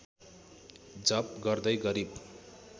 जप गर्दै गरिब